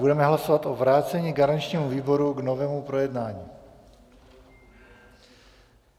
Budeme hlasovat o vrácení garančnímu výboru k novému projednání.